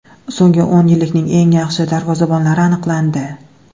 So‘nggi o‘n yillikning eng yaxshi darvozabonlari aniqlandi.